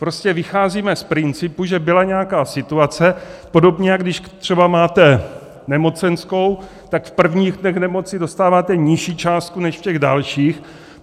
Prostě vycházíme z principu, že byla nějaká situace, podobně jako když třeba máte nemocenskou, tak v prvních dnech nemoci dostáváte nižší částku než v těch dalších.